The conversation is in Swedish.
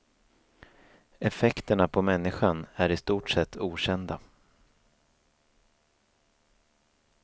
Effekterna på människan är i stort sett okända.